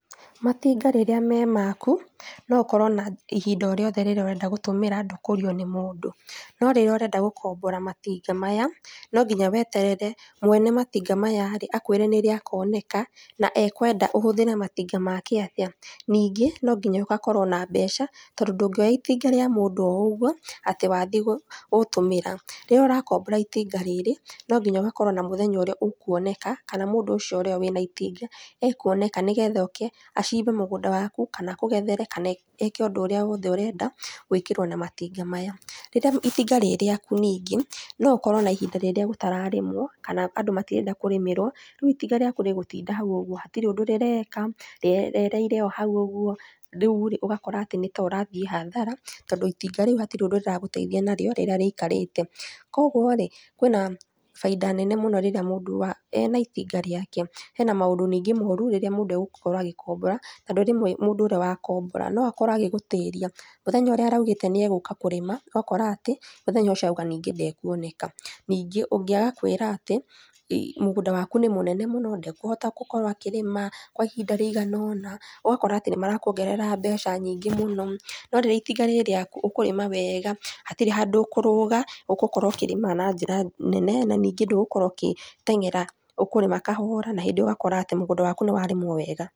Matinga rĩrĩa me maku nokorwo na ihinda o rĩothe rĩrĩa ũrenda gũtũmĩra ndũkũrio nĩ mũndũ, no rĩrĩa ũrenda gũkombora matinga maya, no nginya weterere mwene matinga maya-rĩ akwĩre nĩrĩ akoneka na ekwenda ũhũthĩre matinga make atĩa. Ningĩ nonginya ũgakorwo na mbeca tondũ ndũngĩoya itinga rĩa mũndũ ougwo atĩ wathiĩ gũtũmĩra. Rĩrĩa ũrakombora itinga rĩrĩ no nginya ũgakorwo na mũthenya ũrĩa ũkuoneka kana mũndũ ũcio ũrĩa wĩna itinga ekuoneka nĩgetha oke, acimbe mũgũnda waku kana akũgethere kana eke ũndũ ũrĩa wothe ũrenda gwĩkĩwo na matinga maya. Rĩrĩa itinga rĩ rĩaku ningĩ, no ũkorwo ona ihinda rĩrĩa gũtararĩmwo kana andũ matirenda kũrĩmĩrwo, rĩu itinga rĩaku rĩgũtinda hau ũgwo, hatirĩ ũndũ rĩreka, rĩerereire o hau ũgwo, rĩu-rĩ, ũgakora ati nĩ ta ũrathiĩ hathara tondũ itinga rĩu hatirĩ undũ rĩragũteithia nagwo rĩrĩa rĩikarĩte. Kwogwo-rĩ, kwĩna baida nene mũno rĩrĩa mũndũ wa, ena itinga rĩake. Hena maũndũ ningĩ moru rĩrĩa mũndũ agũkorwo agĩkombora tondũ rĩmwe mũndũ ũrĩa wakombora no akorwo agĩgũtĩria, mũthenya ũrĩa araugĩte nĩ egũka kũrĩma ũgakora atĩ mũthenya ũcio auga ningĩ ndekuoneka. Ningĩ ũngĩ agakwĩra atĩ mũgũnda waku nĩ mũnene mũno ndekũhota gũkorwo akĩrĩma kwa ihinda rĩigana ũna, ũgakora atĩ nĩmarakuongerera mbeca nyingĩ mũno, no rĩrĩa itinga rĩ rĩaku ũkũrĩma wega, hatirĩ handũ ũkũrũga ũgũkorwo ũkĩrĩma na njĩra nene na ningĩ ndũgukorwo ũkĩteng'era, ũkũrĩma kahora na hĩndĩ ĩyo ũgakora atĩ mũgũnda waku nĩwarĩmwo wega.